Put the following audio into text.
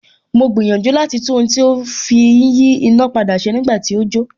Mo gbìyànjú láti tún ohun tí a fi ń yí iná padà ṣe nígbà tí ó jó